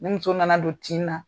Ni muso nana don tin na